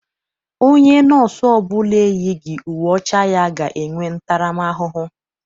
Onye nọọsụ ọbụla eyighị uwe ọcha ya ga-enwe ntaram ahụhụ.